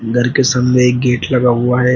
घर के सामने एक गेट लगा हुआ है।